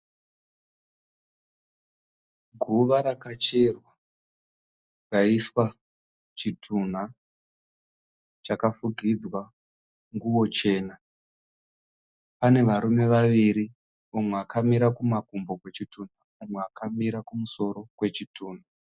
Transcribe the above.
Guva rakacherwa raiswa chitunha chakafukidzwa nguo chena. Pane varume vaviri mumwe akamira kumakumbo kwechitunha, mumwe akamira kumusoro kwechitunha.